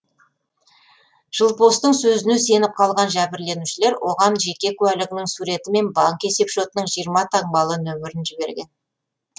жылпостың сөзіне сеніп қалған жәбірленушілер оған жеке куәлігінің суреті мен банк есепшотының жиырма таңбалы нөмірін жіберген